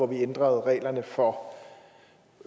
vi ændrede reglerne for